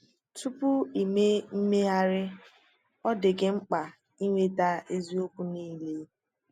Tupu ị mee mmegharị, ọ dị gị mkpa ịnweta eziokwu niile.